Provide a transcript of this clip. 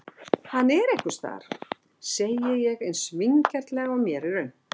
Hann er einhvers staðar, segi ég eins vingjarnlega og mér er unnt.